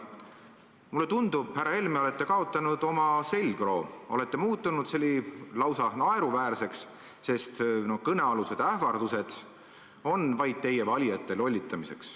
Mulle tundub, härra Helme, et te olete kaotanud oma selgroo, olete muutunud lausa naeruväärseks, sest kõnealused ähvardused on vaid teie valijate lollitamiseks.